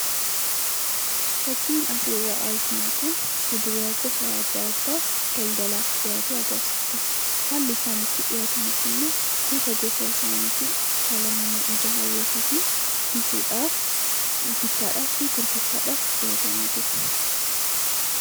Fakkiin asirraa arginu kun fuduraa gosa adda addaa daldalaaf dhiyaate agarsiisa. Haalli isaan itti dhiyaatan ammoo gosa gosa isaaniitin haala nama ija hawwatuutin bittaafi gurgurtaadhaaf dhiyaatanii jiru.